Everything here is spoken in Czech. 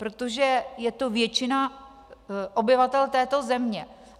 Protože je to většina obyvatel této země.